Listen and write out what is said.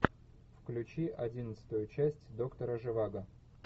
включи одиннадцатую часть доктора живаго